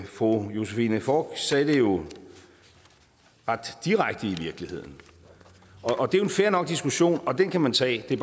fru josephine fock sagde det jo ret direkte i virkeligheden og det er en fair nok diskussion og den kan man tage det